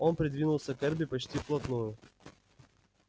он придвинулся к эрби почти вплотную